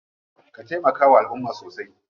Ka taimakawa alumma sosai.